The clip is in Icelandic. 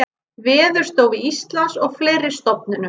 Veðurstofu Íslands og fleiri stofnunum.